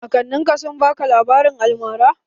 Kakannin ka sun baka labarin almara?